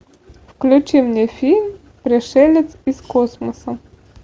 включи мне фильм пришелец из космоса